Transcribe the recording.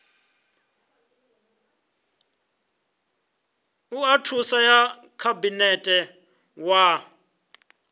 oa thuso ya khabinete wa